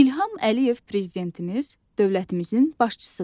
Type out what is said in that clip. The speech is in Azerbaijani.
İlham Əliyev prezidentimiz dövlətimizin başçısıdır.